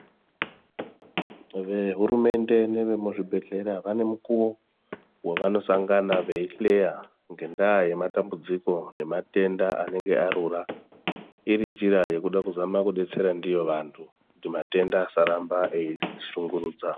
Vehurumende nevemuzvibhedlera vanemikuwo wavanosangana beyihleya ngendaa yematambudziko nematenda anenge arura irinjira yekuda kuzama kudetsera ndiwo vantu kuti matenda asarambe eyishungurudza.